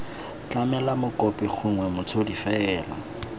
tlamele mokopi gongwe motshodi fela